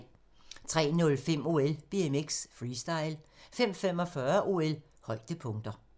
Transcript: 03:05: OL: BMX Freestyle 05:45: OL: Højdepunkter